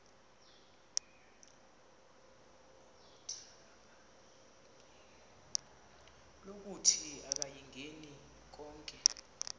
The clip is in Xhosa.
lokuthi akayingeni konke